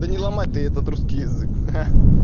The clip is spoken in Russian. да не ломай ты этот русский язык ха-ха